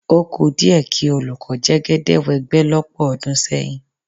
Ó kù díẹ̀ kí olùkọ́ Jẹ́gẹ́dẹ́ wẹ́gbẹ́ lọ́pọ̀ ọdún sẹ́yìn.